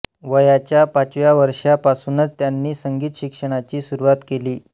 वयाच्या पाचव्या वर्षापासूनच त्यांनी संगीत शिक्षणाची सुरूवात केली